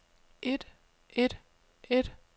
et et et